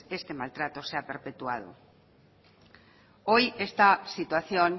este maltrato se ha perpetuado hoy esta situación